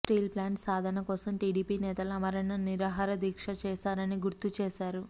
steel plant సాధన కోసం TDP నేతలు ఆమరణ నిరాహార దీక్ష చేశారని గుర్తు చేశారు